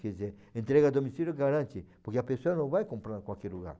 Quer dizer, entrega a domicílio garante, porque a pessoa não vai comprar em qualquer lugar.